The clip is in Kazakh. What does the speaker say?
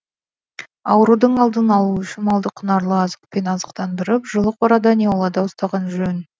аурудың алдын алу үшін малды құнарлы азықпен азықтандырып жылы қорада не аулада ұстаған жөн